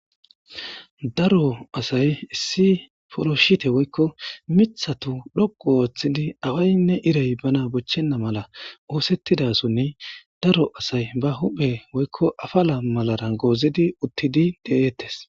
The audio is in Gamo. daro asay issi poloshite woykko mithatu dhoqu ooththidi awaynne irey bana bochchenna mala oosettidasonni daro asay ba huphe woykko afala malara goozidi uttidi de7eettes